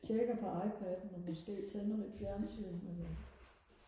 tjekker på IPadden og måske tænder lidt fjernsyn men øh